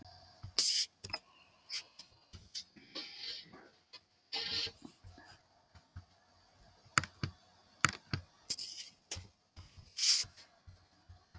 Það hljóp rotta yfir tærnar á honum úti á tröppum um daginn.